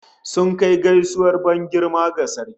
Sun kai gaisuwar ban girma ga sarki